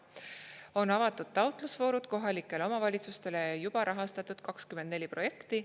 On avatud taotlusvoorud kohalikele omavalitsustele ja juba rahastatud 24 projekti.